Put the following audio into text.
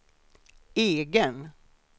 egen